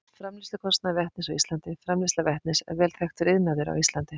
Framleiðslukostnaður vetnis á Íslandi Framleiðsla vetnis er vel þekktur iðnaður á Íslandi.